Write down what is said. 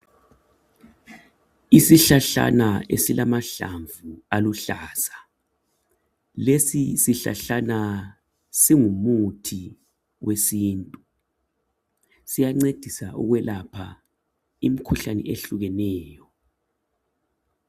Isihlahlana esilamahlamvu aluhlaza. Lesisihlahlana, singumuthi wesintu. Siyancedisa ukwelapha, imikhuhlane eyehlukeneyo,